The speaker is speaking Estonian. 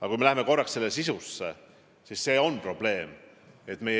Aga süveneme korraks probleemi sisusse!